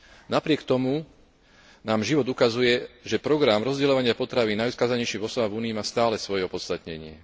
Napriek tomu nám život ukazuje, že program rozdeľovania potravín najodkázanejším osobám v Únii má stále svoje opodstatnenie.